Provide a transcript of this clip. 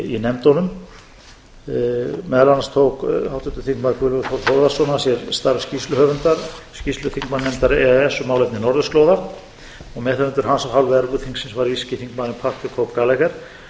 í nefndunum meðal annars tók háttvirtur þingmaður guðlaugur þór þórðarson að sér starf skýrsluhöfundar skýrslu þingmannanefndar e e s um málefni norðurslóða meðhöfundur hans af hálfu evrópuþingsins var írski þingmaðurinn pat the cope gallagher